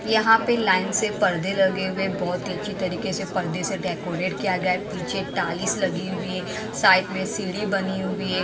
यहां पे लाइन से पर्दे लगे हुए बहुत ही अच्छी तरीके से पर्दे से डेकोरेट किया गया है पीछे टाइल्स लगी हुई है साइड में सीढ़ी बनी हुई है।